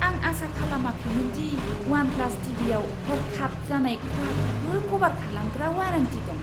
आं आसा खालामाखैमोन दि उवान प्लास टीवीआव हर्खाब जानाय खहाखौबो कभार खालामग्रा वारेन्टी दं!